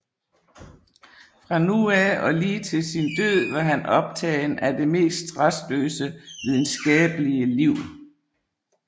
Fra nu af og lige til sin død var han optagen af det mest rastløse videnskabelige liv